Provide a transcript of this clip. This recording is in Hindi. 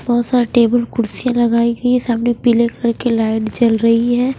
बहुत सारे टेबल कुर्सियां लगाई गई है सामने पीले कलर की लाइट जल रही है।